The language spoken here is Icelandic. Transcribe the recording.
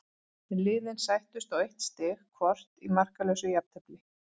Liðin sættust á eitt stig hvort í markalausu jafntefli.